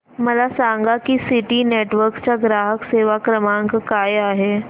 मला सांगा की सिटी नेटवर्क्स चा ग्राहक सेवा क्रमांक काय आहे